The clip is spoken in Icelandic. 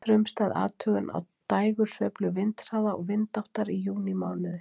Frumstæð athugun á dægursveiflu vindhraða og vindáttar í júnímánuði.